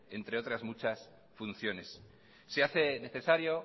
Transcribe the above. entre otras muchas funciones se hace necesario